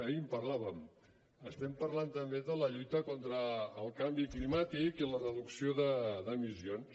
ahir en parlàvem estem parlant també de la lluita contra el canvi climàtic i la reducció d’emissions